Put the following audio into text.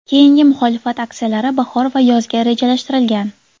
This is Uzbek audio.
Keyingi muxolifat aksiyalari bahor va yozga rejalashtirilgan.